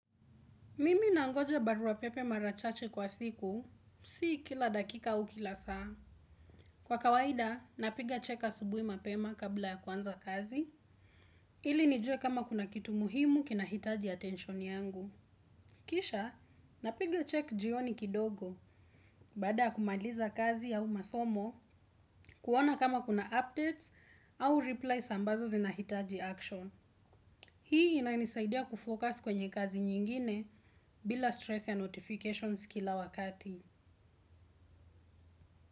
Mimi nangoja barua pepe marachache kwa siku, si kila dakika au kila saa. Kwa kawaida, napiga check subui mapema kabla ya kwanza kazi, ili nijue kama kuna kitu muhimu kina hitaji attention yangu. Kisha, napiga check jioni kidogo, baada ya kumaliza kazi au masomo, kuona kama kuna updates au replys ambazo zinahitaji action. Hii ina nisaidia kufocus kwenye kazi nyingine bila stress ya notifications kila wakati. Muzika.